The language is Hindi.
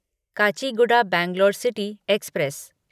Kachiguda Bangalore city express